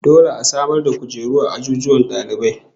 Dole a samar da kujeru a azuzuwan dalibai